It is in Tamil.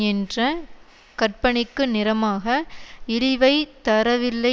என்ற கற்பனைக்கு நிரமாக இழிவைத் தரவில்லை